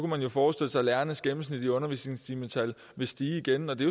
man forestille sig at lærernes gennemsnit i undervisningstimetal vil stige igen og det